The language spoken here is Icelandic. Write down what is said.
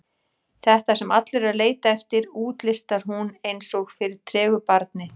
Þetta sem allir eru að leita eftir, útlistar hún eins og fyrir tregu barni.